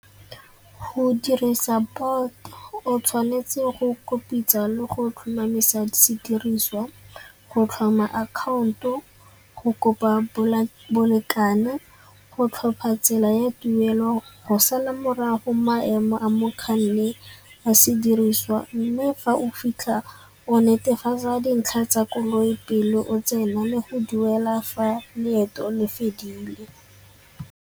Go dirisa Bolt o tshwanetse go le go tlhomamisa sediriswa, go tlhoma account-o, go kopa bolekane, go tlhopha tsela ya tuelo, go sala morago maemo a mokganni a sediriswa mme fa o fitlha o netefatsa dintlha tsa koloi pele o tsena le go duela fa leeto le fedile.